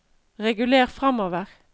reguler framover